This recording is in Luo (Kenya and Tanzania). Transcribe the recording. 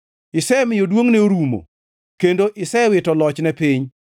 Isemiyo duongʼne orumo kendo isewito lochne piny.